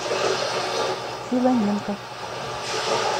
филоненко